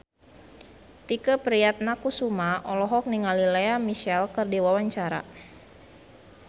Tike Priatnakusuma olohok ningali Lea Michele keur diwawancara